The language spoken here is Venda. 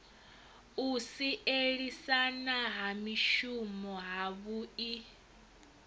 u sielisana ha mishumo havhui